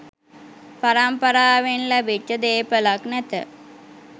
පරම්පාරාවෙන් ලැබිච්ච දේපලක් නැත.